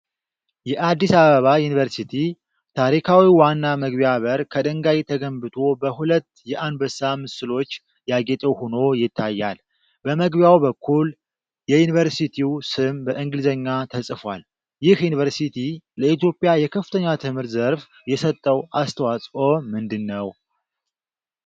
የአዲስ አበባ ዩኒቨርሲቲ ታሪካዊ ዋና መግቢያ በር ከድንጋይ ተገንብቶ፣ በሁለት የአንበሳ ምስሎች ያጌጠ ሆኖ ይታያል። በመግቢያው በኩል የዩኒቨርሲቲው ስም በእንግሊዝኛ ተጽፏል። ይህ ዩኒቨርሲቲ ለኢትዮጵያ የከፍተኛ ትምህርት ዘርፍ የሰጠው አስተዋጽኦ ምንድነው?